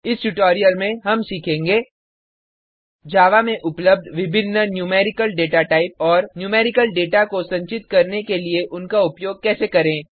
इस ट्यूटोरियल में हम सीखेंगे जावा में उपलब्ध विभिन्न न्यूमेरिकल डेटाटाइप और न्यूमेरिकल डेटा को संचित करने के लिए उनका उपयोग कैसे करें